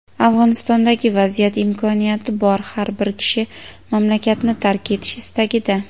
Afg‘onistondagi vaziyat: imkoniyati bor har bir kishi mamlakatni tark etish istagida.